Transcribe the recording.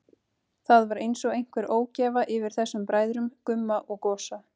Það var einsog einhver ógæfa yfir þessum bræðrum, Gumma og Gosa.